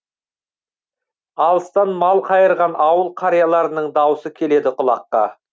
алыстан мал қайырған ауыл қарияларының даусы келеді құлаққа